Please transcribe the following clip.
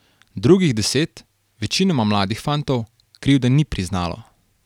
Drugih deset, večinoma mladih fantov, krivde ni priznalo.